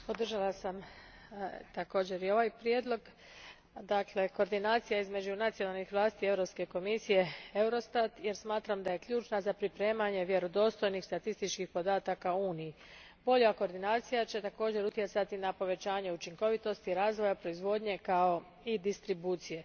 Gospodine predsjedavajući, podržala sam također i ovaj prijedlog, koordinaciju između nacionalnih vlasti, Europske komisije Eurostata, jer smatram da je ključna za pripremanje vjerodostojnih statističkih podataka u Uniji. Bolja koordinacija će također utjecati na povećanje učinkovitosti razvoja, proizvodnje kao i distribucije.